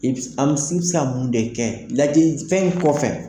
I bi se ka mun de kɛ, ladili fɛn in kɔfɛ?